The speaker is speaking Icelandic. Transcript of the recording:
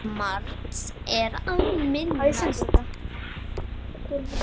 Margs er að minnast